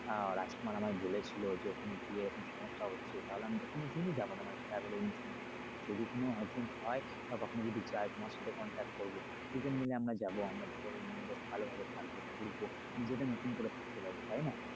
আহ রাজকুমার আমায় বলেছিলো যে ওখানে গিয়ে কি রকম সমস্যা হচ্ছে তাহলে আমি তো কোনদিনই যাবো না মানে travel agency এর মাধ্যমে যদি কোন হয় বা কখনো যদি যাই তোমার সাথে contact করব দুজন মিলে আমরা যাবো আমরা তো ধরো ভালোভাবে থাকব ঘুরবো নিজেদের মত করে ঘুরতে পারব তাইনা?